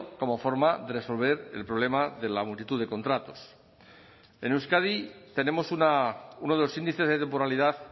como forma de resolver el problema de la multitud de contratos en euskadi tenemos uno de los índices de temporalidad